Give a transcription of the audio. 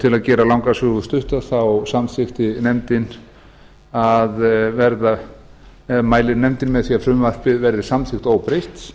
til að gera langa sögu stutta þá mælir nefndin með því að frumvarpið verði samþykkt óbreytt